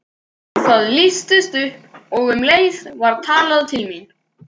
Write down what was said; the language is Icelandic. Það lýstist upp og um leið var talað til mín.